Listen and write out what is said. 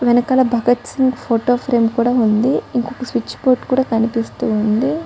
వెనకాల Bhagat Singh photo frame కూడా ఉంది. ఇంకొక స్విచ్ బోర్డ్ కూడా కనిపిస్తూ ఉంది.